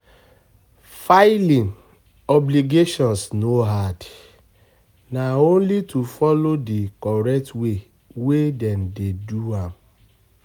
Filing obligations no hard, na only to folo di correct way wey dem dey do am